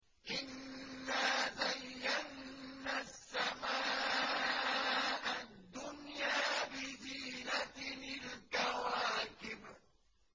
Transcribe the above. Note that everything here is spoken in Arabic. إِنَّا زَيَّنَّا السَّمَاءَ الدُّنْيَا بِزِينَةٍ الْكَوَاكِبِ